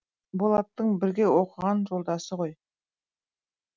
болаттың бірге оқыған жолдасы ғой